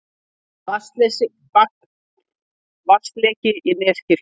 Vatnsleki í Neskirkju